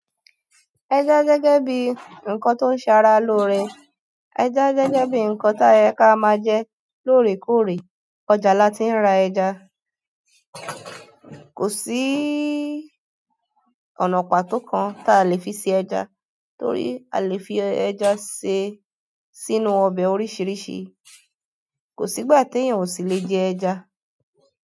Gẹ́gẹ́ bi nkan to n sara lore, gegebi nkan to ye ka maa je loorekoore ọjà là tí ń ra ẹja. Kò sí ọ̀nà pàtó kan ta lè fi ṣe ẹja torí a le fi ẹja ṣe sínú ọbẹ̀ oríṣiríṣi. Kò sí ìgbà tí èèyàn kò sí le jẹ ẹja.